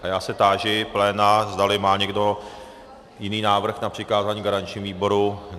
A já se táži pléna, zdali má někdo jiný návrh na přikázání garančnímu výboru.